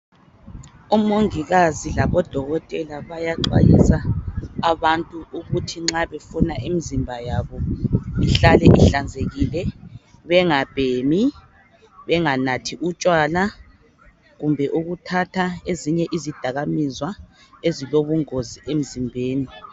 Omongikazi labo dokotela bayaxwayisa abantu ukuthi nxa befuna imizimba yabo ihlale ihlanzekile bengabhemi, benganathi utshwala kumbe ukuthatha ezinye izidakamizwa ezilobu ngozi emzimbeni.